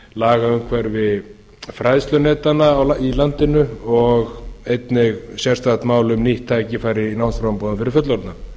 lagaumhverfi fræðslunetanna í landinu og einnig sérstakt mál um nýtt tækifæri í námsframboði fyrir fullorðna